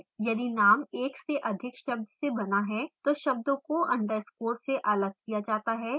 यदि name एक से अधिक शब्द से बना है तो शब्दों को underscore से अलग किया जाता है